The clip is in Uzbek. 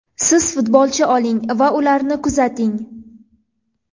Siz futbolchi oling va ularni kuzating.